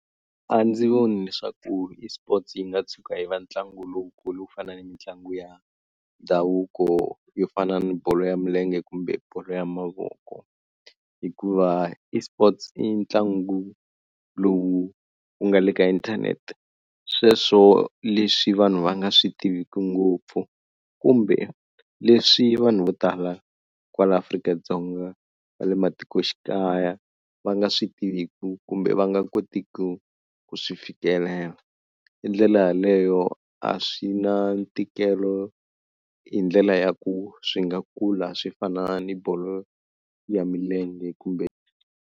A ndzi voni leswaku eSports yi nga tshuka yi va ntlangu lowukulu ku fana ni mitlangu ya ndhavuko yo fana ni bolo ya milenge kumbe bolo ya mavoko hikuva eSports i ntlangu lowu wu nga le ka inthanete sweswo leswi vanhu va nga swi tiviki ngopfu kumbe leswi vanhu vo tala kwala Afrika-Dzonga va le matikoxikaya va nga swi tiviku kumbe va nga kotiki ku swi fikelela. Hi ndlela yaleyo a swi na ntikelo hi ndlela ya ku swi nga kula swi fana ni bolo ya milenge kumbe.